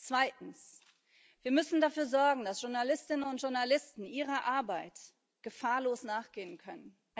Zweitens Wir müssen dafür sorgen, dass Journalistinnen und Journalisten ihrer Arbeit gefahrlos nachgehen können.